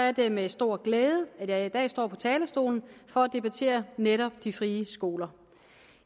er det med stor glæde at jeg i dag står på talerstolen for at debattere netop de frie skoler